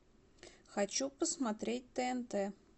хочу посмотреть тнт